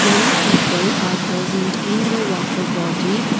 many people are present in the water body.